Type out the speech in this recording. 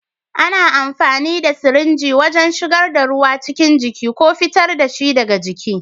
Ana amfani da sirinji wajen shigar da ruwa cikin jiki ko fitar da shi daga jiki.